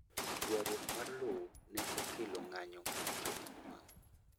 Ywaruok mar lowo ne okelo ng'anyo mar jo mau mau